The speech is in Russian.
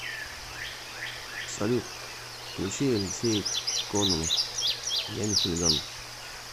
салют включи алексей кононов я не хулиган